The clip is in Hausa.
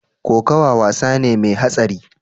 Kokawa wasa ne mai hatsari.